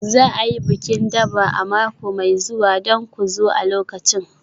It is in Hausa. Za a yi bikin Durbar a mako mai zuwa don ku zo a lokacin.